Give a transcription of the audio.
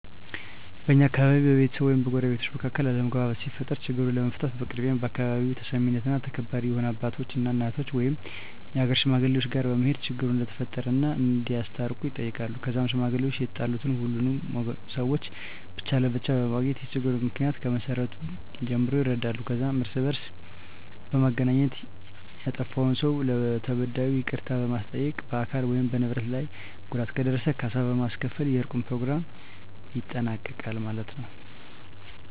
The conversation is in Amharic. በእኛ አካባቢ በቤተሰብ ወይም በጎረቤቶች መካከል አለመግባባት ሲፈጠር ችግሩን ለመፍታት በቅድሚያ በአካባቢው ተሰሚነትና ተከባሪ የሆኑ አባቶች እና እናቶች ወይም የሀገር ሽማግሌወች ጋር በመሄድ ችግሩ እንደተፈጠረ እና እንዲያስታርቁ ይጠየቃሉ ከዛም ሽማግሌወች የተጣሉትን ሁሉንም ሰውች ብቻ ለብቻ በማግኘት የችግሩን ምክንያ ከመሰረቱ ጀምሮ ይረዳሉ ከዛም እርስ በእርስ በማገናኘት ያጠፍውን ሰው ለተበዳዩ ይቅርታ በማስጠየቅ በአካል ወይም በንብረት ላይ ጉዳት ከደረሰ ካሳ በማስከፈል የእርቁን በኘሮግራሙ ይጠናቀቃል ማለት የው።